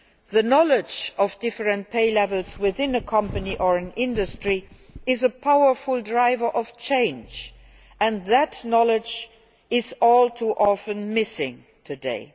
The knowledge of different pay levels within a company or an industry is a powerful driver of change, and that knowledge is all too often missing today.